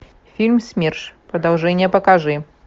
фильм смерш продолжение покажи